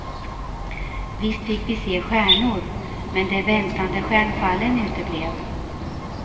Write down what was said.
Visst fick vi se stjärnor, men de väntade stjärnfallen uteblev.